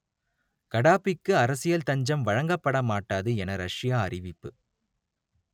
கடாபிக்கு அரசியல் தஞ்சம் வழங்கப்பட மாட்டாது என ரஷ்யா அறிவிப்பு